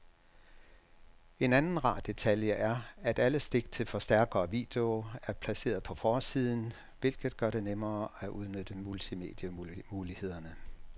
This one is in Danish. En anden rar detalje er, at alle stik til forstærker og video er placeret på forsiden, hvilket gør det nemmere at udnytte multimedie-mulighederne.